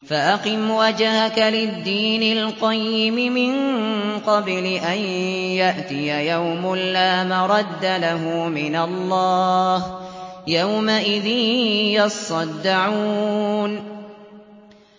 فَأَقِمْ وَجْهَكَ لِلدِّينِ الْقَيِّمِ مِن قَبْلِ أَن يَأْتِيَ يَوْمٌ لَّا مَرَدَّ لَهُ مِنَ اللَّهِ ۖ يَوْمَئِذٍ يَصَّدَّعُونَ